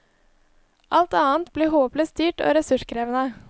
Alt annet blir håpløst dyrt og ressurskrevende.